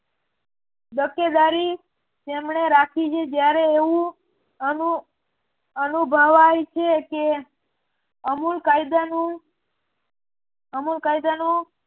દકેદારી તેમણે રાખી છે જયારે એવું અનુભવાય છે કે અમુક કાયદાનું